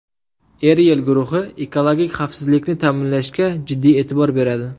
Eriell guruhi ekologik xavfsizlikni ta’minlashga jiddiy e’tibor beradi.